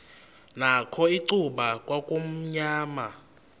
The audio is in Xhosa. nakho icuba kwakumnyama